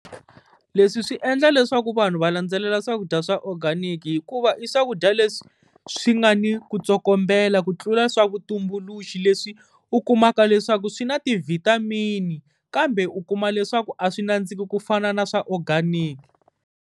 Leswi swi endla leswaku vanhu va landzelela swakudya swa organic, hikuva i swakudya leswi swi nga ni ku tsokombela ku tlula swa vutumbuluxi, leswi u kumaka leswaku swi na ti-vitamin-i, kambe u kuma leswaku a swi nandziki ku fana na swa organic.